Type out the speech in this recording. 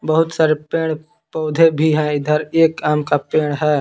बहुत सारे पेड़ पौध भी है इधर एक आम का पेड़ है।